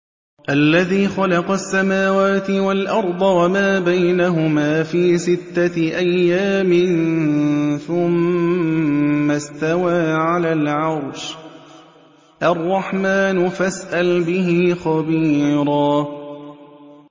الَّذِي خَلَقَ السَّمَاوَاتِ وَالْأَرْضَ وَمَا بَيْنَهُمَا فِي سِتَّةِ أَيَّامٍ ثُمَّ اسْتَوَىٰ عَلَى الْعَرْشِ ۚ الرَّحْمَٰنُ فَاسْأَلْ بِهِ خَبِيرًا